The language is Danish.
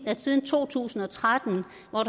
der siden to tusind og tretten